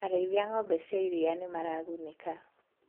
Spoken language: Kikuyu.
Arĩithia a ngombe cia iria nĩmaragunĩka.